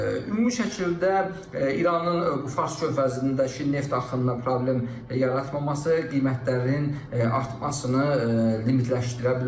Ümumi şəkildə İranın bu Fars körfəzindəki neft axınına problem yaratmaması qiymətlərin artmasını limitləşdirə bilər.